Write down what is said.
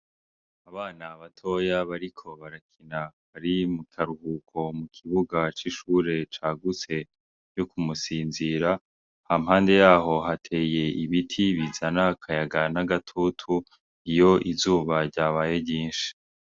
Abana batoya bariko barakina bari mukaruhuko, mu kibuga c'ishure cagutse co kumusinzira. Hampande yaho hateye ibiti bizana akayaga n'agatutu, iyo izuba ryabaye ryinshi.